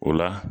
O la